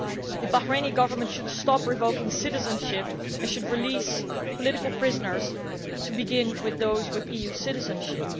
The Bahraini Government should stop revoking citizenship and should release political prisoners, beginning with those with EU citizenship.